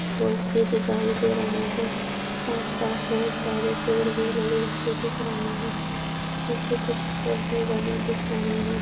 लोग भी दिखाई दे रहे है आसपास बहुत सारे पेड़ भी लगे हुए दिख रहे है पीछे कुछ घर भी बने दिख रहे है।